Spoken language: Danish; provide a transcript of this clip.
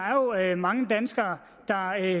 er jo mange danskere der